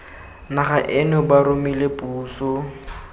naga eno ba romile puso